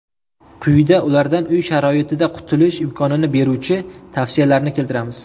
Quyida ulardan uy sharoitida qutulish imkonini beruvchi tavsiyalarni keltiramiz.